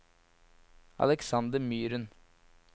Aleksander Myren